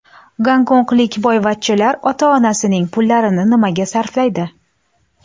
Gonkonglik boyvachchalar ota-onasining pullarini nimaga sarflaydi?